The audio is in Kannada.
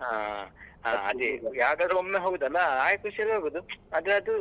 ಹಾ ಅದೇ ಯಾವಾಗಾದ್ರೂ ಒಮ್ಮೆ ಹೋಗುದಲಾ ಆ ಖುಷಿಯಲ್ಲಿ ಹೋಗುದು ಆದ್ರೆ ಅದು